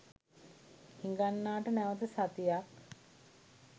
හිඟන්නාට නැවත සතියක්